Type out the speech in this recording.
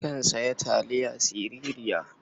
Nakan sayi taliya sirara.